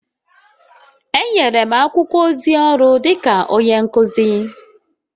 Enyere m akwụkwọ ozi ọrụ dịka onye nkuzi..